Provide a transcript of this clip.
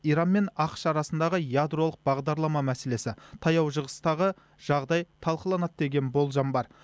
иран мен ақш арасындағы ядролық бағдарлама мәселесі таяу шығыстағы жағдай талқыланады деген болжам бар